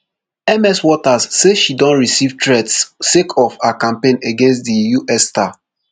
ms waters say she don receive threats sake of her campaign against di us star